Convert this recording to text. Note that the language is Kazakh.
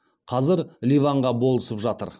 қазір ливанға болысып жатыр